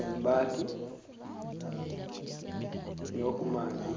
Embaati eyo kumaadhi